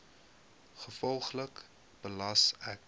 gevolglik gelas ek